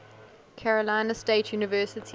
carolina state university